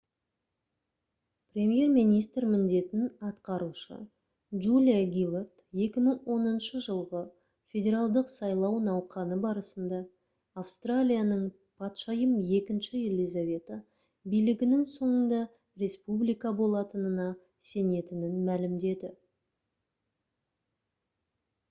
премьер министр міндетін атқарушы джулия гиллард 2010 жылғы федералдық сайлау науқаны барысында австралияның патшайым ii елизавета билігінің соңында республика болатынына сенетінін мәлімдеді